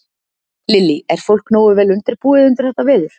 Lillý: Er fólk nógu vel undirbúið undir þetta veður?